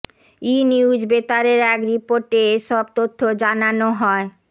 ইনিউজ বেতারের এক রিপোর্টে এ সব তথ্য জানানো হয়